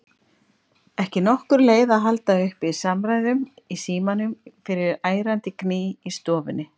Ekki nokkur leið að halda uppi samræðum í símanum fyrir ærandi gný í stofunni.